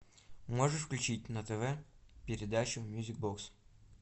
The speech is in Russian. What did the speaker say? можешь включить на тв передачу мьюзик бокс